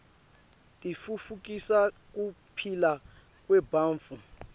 titfutfukisa kuphila kwebantfu